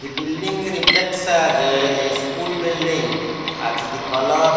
the building reflects as a school building as the colour --